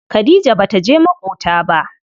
Khadija bata je maƙota ba.